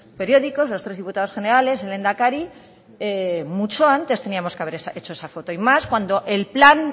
periódicos los tres diputados generales el lehendakari mucho antes teníamos que haber hecho esa foto y más cuando el plan